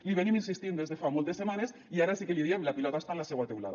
li venim insistint des de fa moltes setmanes i ara sí que l’hi diem la pilota està en la seua teulada